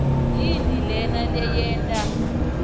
yini lena leyenta